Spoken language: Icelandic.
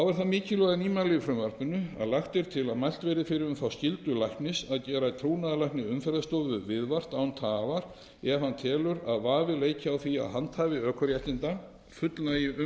mikilvæga nýmæli í frumvarpinu að lagt er til að mælt verði fyrir um þá skyldu læknis að gera trúnaðarlækni umferðarstofu viðvart án tafar ef hann telur vafa leika á að handhafi ökuréttinda fullnægi umræddum